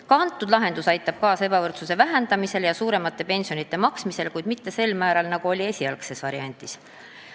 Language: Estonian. Ka antud lahendus aitab kaasa ebavõrdsuse vähendamisele ja suuremate pensionide maksmisele, kuid mitte sel määral, nagu oli ette nähtud esialgses variandis.